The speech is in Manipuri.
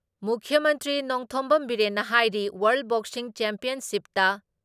ꯃꯨꯈ꯭ꯌ ꯃꯟꯇ꯭ꯔꯤ ꯅꯣꯡꯊꯣꯝꯕꯝ ꯕꯤꯔꯦꯟꯅ ꯍꯥꯏꯔꯤ ꯋꯥꯔꯜ ꯕꯣꯛꯁꯤꯡ ꯆꯦꯝꯄꯤꯌꯟꯁꯤꯞꯇ